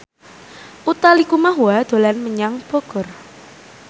Utha Likumahua dolan menyang Bogor